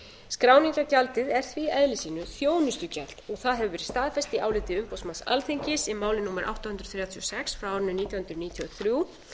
skráningargjaldið er því í eðli sínu þjónustugjald og það hefur verið staðfest í áliti umboðsmanns alþingis í máli númer átta hundruð þrjátíu og sex nítján hundruð níutíu og þrjú